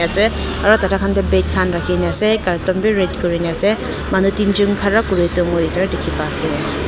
ase aru tatey khan tey bag khan rakhina na carton bi ret kurina ase manu tinjun khara kuiritu mui itewa dikhi pai ase.